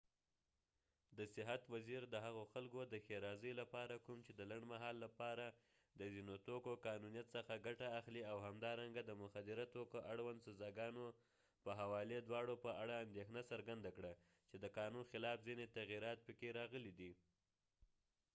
د صحت وزیر د هغو خلکود ښیرازۍ لپاره کوم چې د لنډمهال لپاره د ځینو توکو قانونيت څخه ګټه اخلي او همدارنګه د مخدره توکو اړوند سزاګانو په حوالې دواړو په اړه اندیښنه څرګنده کړه چې د قانون خلاف ځینې تغییرات پکې راغلي دي